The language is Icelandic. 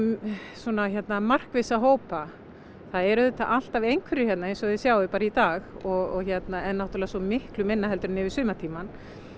svona markvissa hópa það eru auðvitað alltaf einhverjir hérna eins og þið sjáið bara í dag en náttúrulega svo miklu minna en yfir sumartímann